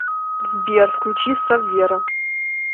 сбер включи саввера